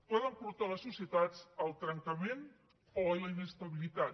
poden portar les societats al trencament o a la inestabilitat